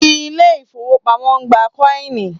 Ilé ifówópamọ́ ń gbà kọ́ìnì